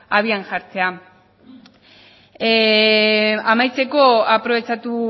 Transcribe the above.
abian jartzea amaitzeko aprobetxatu